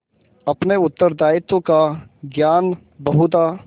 अपने उत्तरदायित्व का ज्ञान बहुधा